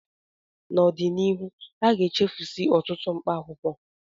N'ọdịnihu, aga-echefusi ọtụtụ mkpaakwụkwọ